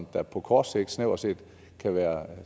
der på kort sigt snævert set kan være